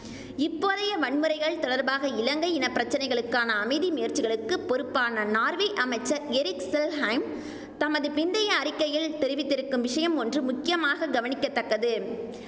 இப்போதைய வன்முறைகள் தொடர்பாக இலங்கை இனப்பிரச்சனைகளுக்கான அமைதி முயற்சிகளுக்கு பொறுப்பான நார்வே அமைச்சர் எரிக் செல்ஹெய்ம் தமது பிந்தைய அறிக்கையில் தெரிவித்திருக்கும் விஷயம் ஒன்று முக்கியமாக கவனிக்க தக்கது